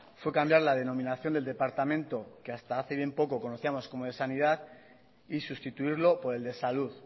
fue cambiar la denominación del departamento que hasta hace bien poco la conocíamos como de sanidad y sustituirlo por el de salud